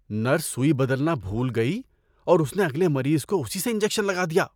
Nurse سوئی بدلنا بھول گئی اور اس نے اگلے مریض کو اسی سے انجکشن لگا دیا۔